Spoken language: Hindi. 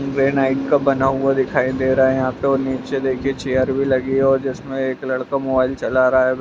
ग्रेनाइट का बना हुआ दिखाई दे रहा है यहाँ तो नीचे देखिए चेयर भी लगी है और जिसमें एक लड़का मोबाइल चला रहा है ब --